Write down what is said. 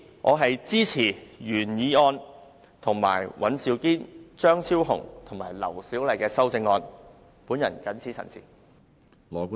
我支持原議案及尹兆堅議員、張超雄議員和劉小麗議員提出的修正案。